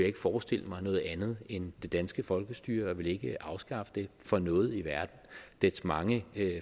ikke forestille mig noget andet end det danske folkestyre og jeg vil ikke afskaffe det for noget i verden dets mange